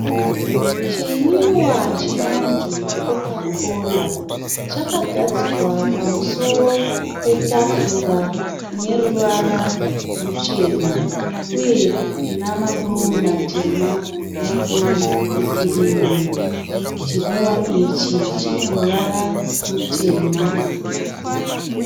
Chimwiwa chinonzi coca cola. Chakagadzikwa pamusoro petafura ine ruwara ruchena uye ina ma do matema nama do ekirimu. Chimwiwa ichi chine ruvara rutema.